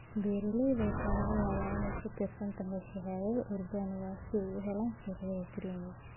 beeralayda waxaa laga yaabaa inay ku tiirsanaadaan shahaado organic si ay u helaan suuqyada premium.